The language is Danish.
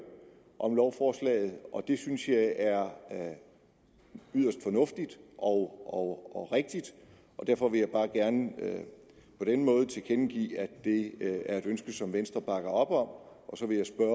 om lovforslaget det synes jeg er yderst fornuftigt og rigtigt og derfor vil jeg bare gerne på denne måde tilkendegive at det er et ønske som venstre bakker op om så vil jeg